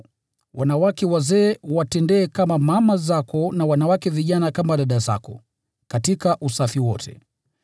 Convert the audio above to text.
nao wanawake wazee uwatendee kama mama zako, na wanawake vijana kama dada zako, katika usafi wote.